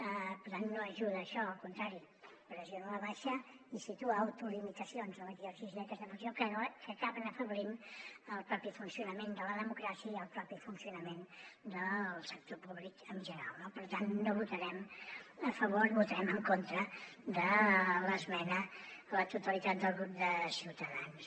per tant no ajuda a això al contrari pressiona a la baixa i situa autolimitacions a l’exercici d’aquesta funció que acaben afeblint el propi funcionament de la democràcia i el propi funcionament del sector públic en general no per tant no votarem a favor votarem en contra de l’esmena a la totalitat del grup de ciutadans